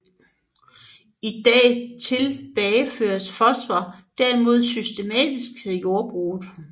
I dag tilbageføres fosfor derimod systematisk til jordbruget